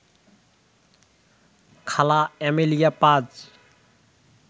খালা এমেলিয়া পাজ